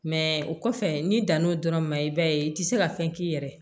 Mɛ o kɔfɛ n'i dan n'o dɔrɔn ma i b'a ye i ti se ka fɛn k'i yɛrɛ ye